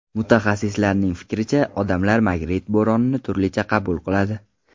Mutaxassislarning fikricha, odamlar magnit bo‘ronini turlicha qabul qiladi.